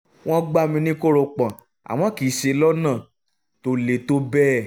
wọ́n gbá mi ní kórópọọ̀ àmọ́ kìí ṣe lọ́nà tó le tó bẹ́ẹ̀